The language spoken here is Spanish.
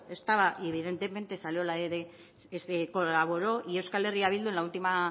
estaba y evidentemente colaboró y euskal herria bildu en la última